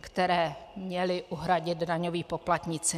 které měli uhradit daňoví poplatníci.